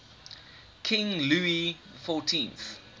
king louis xiv